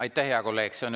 Aitäh, hea kolleeg!